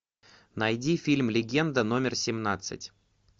найди фильм легенда номер семнадцать